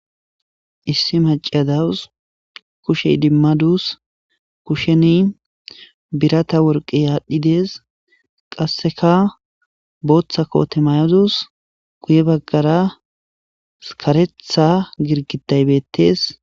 Issi macciya dawus kushe idimadus kusheni birata worqey aadhi de7ees qassekara booththa koote mayadus guyera kareththa girguday betees.